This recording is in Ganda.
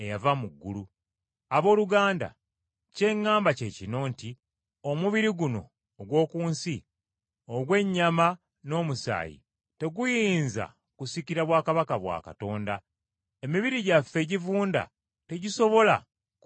Abooluganda, kye ŋŋamba kye kino nti omubiri guno ogw’oku nsi, ogw’ennyama n’omusaayi, teguyinza kusikira bwakabaka bwa Katonda. Emibiri gyaffe egivunda tegisobola kuba gya lubeerera.